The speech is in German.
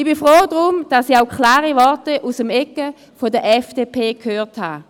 Ich bin froh darum, dass ich auch klare Worte aus der Ecke der FDP gehört habe.